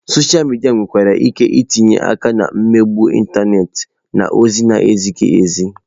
Sọsha midia nwere ike itinye aka na mmegbu ịntanetị na ozi na-ezighi ezi.